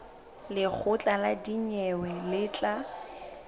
lekgotla la dinyewe le tla